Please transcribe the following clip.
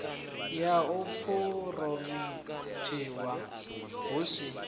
ya u phuromothiwa hu si